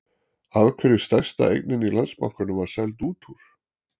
Af hverju stærsta eignin í Landsbankanum var seld út úr?